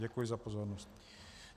Děkuji za pozornost.